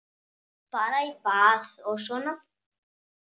Fara í bað og svona.